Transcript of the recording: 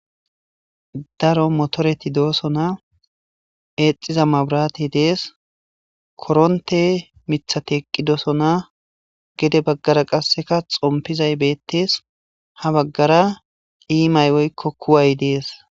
Daro motreti dosona , eexiza mabiratey de'esi,koronte mithati eqidosona gede bagara qase xompizayi beetesi, ha bagara simay woyko kuwayi desi.